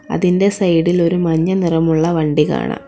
അതിന്റെ സൈഡ് ഇൽ ഒരു മഞ്ഞ നിറമുള്ള വണ്ടി കാണാം.